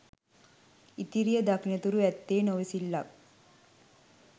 ඉතිරිය දකින තුරු ඇත්තේ නොඉවසිල්ලක්.